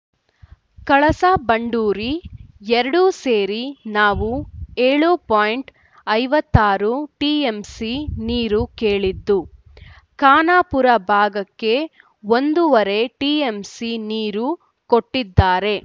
ಕಳಸಾಬಂಡೂರಿ ಎರಡೂ ಸೇರಿ ನಾವು ಏಳು ಪಾಯಿಂಟ್ ಐವತ್ತಾರು ಟಿಎಂಸಿ ನೀರು ಕೇಳಿದ್ದು ಖಾನಾಪುರ ಭಾಗಕ್ಕೆ ಒಂದೂವರೆ ಟಿಎಂಸಿ ನೀರು ಕೊಟ್ಟಿದ್ದಾರೆ